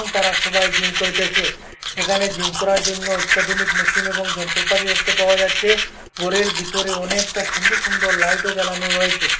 তারা সবাই জিম করিতেসে এখানে জিম করার জন্য অত্যাধুনিক মেশিন এবং যন্ত্রপাতি দেখতে পাওয়া যাচ্চে গোরের বিতরে অনেকটা সুন্দর সুন্দর লাইটও জ্বালানো রয়েচে।